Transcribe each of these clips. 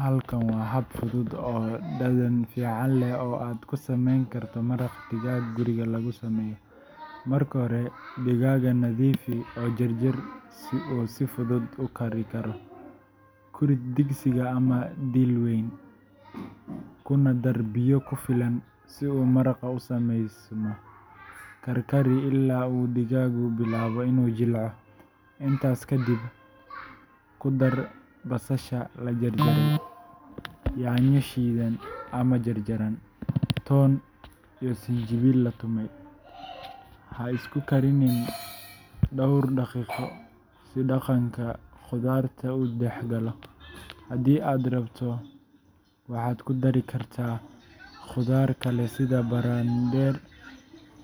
Halkan waa hab fudud oo dhadhan fiican leh oo aad ku samayn karto maraq digaag guriga lagu sameeyo:Marka hore digaagga nadiifi oo jarjar si uu si fudud u kari karo. Ku rid digsi ama dhiil weyn, kuna dar biyo ku filan si uu maraqu u sameysmo. Karkari ilaa uu digaaggu bilaabo inuu jilco. Intaas kadib, ku dar basasha la jarjaray, yaanyo shiidan ama jarjaran, toon iyo sinjibiil la tumay. Ha isku kariyaan dhowr daqiiqo si dhadhanka khudaartu u dhexgalo. Haddii aad rabto, waxaad ku dari kartaa khudaar kale sida barandheer,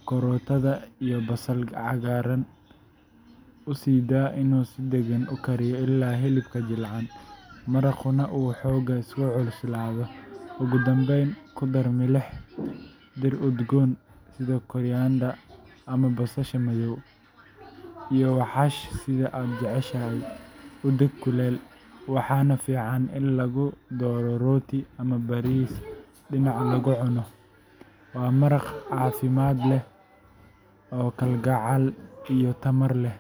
karootada iyo basal cagaaran. U sii daa inuu si deggan u kariyo ilaa hilibku jilcaan, maraqnuna uu xoogaa isku cuslaado. Ugu dambayn, ku dar milix, dhir udgoon sida koriander ama basbaas madow iyo xawaash sida aad jeceshahay. U adeeg kulul, waxaana fiican in lagu daro rooti ama bariis dhinac laga cuno. Waa maraq caafimaad leh oo kalgacal iyo tamar leh.